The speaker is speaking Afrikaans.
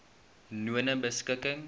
nonebeskikking